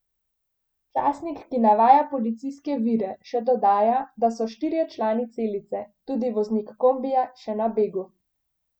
Časnik, ki navaja policijske vire, še dodaja, da so štirje člani celice, tudi voznik kombija, še na begu.